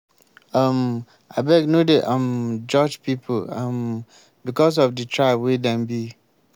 um abeg no dey um judge pipu um because of di tribe wey dem be.